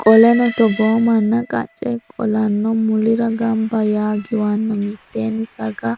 Qoleno togoo manna qacce qolanno mulira gamba yaa giwanno mitteenni saga